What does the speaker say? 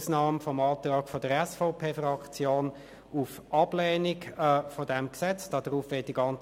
Seien wir sorgfältig in dem, was wir sagen.